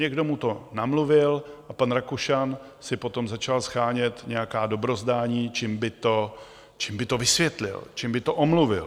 Někdo mu to namluvil a pan Rakušan si potom začal shánět nějaká dobrozdání, čím by to vysvětlil, čím by to omluvil.